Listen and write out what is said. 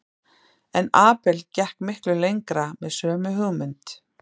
En Abel gekk miklu lengra með sömu hugmynd.